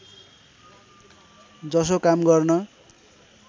जसो काम गर्न